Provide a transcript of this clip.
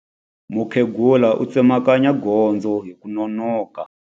Mukhegula u tsemakanya gondzo hi ku nonoka.